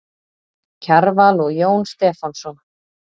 Kjarval og Jón Stefánsson.